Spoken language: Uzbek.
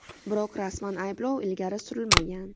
Biroq rasman ayblov ilgari surilmagan.